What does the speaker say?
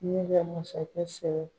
Ne bɛ masakɛ sɛbɛ